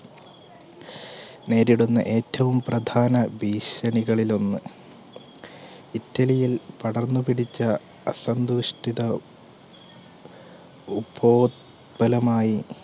നേരിടുന്ന ഏറ്റവും പ്രധാന ഭീഷണികളിൽ ഒന്ന് ഇറ്റലിയിൽ പടർന്ന് പിടിച്ച അസന്തുഷ്ടിത ഉബോ ത്പലമായി